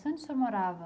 Onde o senhor morava?